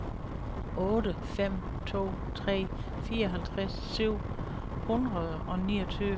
otte fem to tre fireogtres syv hundrede og niogtyve